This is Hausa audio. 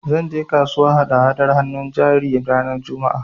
Zan je kasuwa hada-hadar hannun jari ranar Juma'a